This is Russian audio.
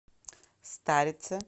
старице